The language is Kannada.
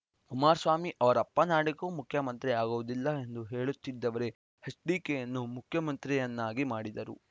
ಕುಮಾರಸ್ವಾಮಿ ಅವರಪ್ಪನಾಣೆಗೂ ಮುಖ್ಯಮಂತ್ರಿ ಆಗುವುದಿಲ್ಲ ಎಂದು ಹೇಳುತ್ತಿದ್ದವರೇ ಎಚ್‌ಡಿಕೆಯನ್ನು ಮುಖ್ಯಮಂತ್ರಿಯನ್ನಾಗಿ ಮಾಡಿದರು